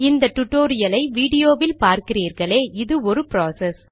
இந்த டுடோரியலை விடியோவில் பார்கிறீர்களே இது ஒரு ப்ராசஸ்